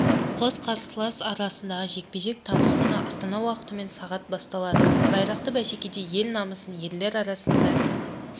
қос қарсылас арасындағы жекпе-жек тамыз күні астана уақытымен сағат басталады байрақты бәсекеде ел намысын ерлер арасында